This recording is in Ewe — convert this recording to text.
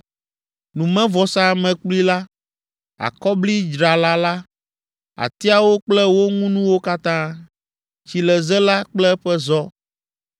Numevɔsamlekpui la, akɔblidzrala la; atiawo kple wo ŋunuwo katã; tsileze la kple eƒe zɔ